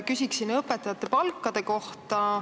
Küsin õpetajate palkade kohta.